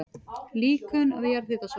Líkön af jarðhitasvæðum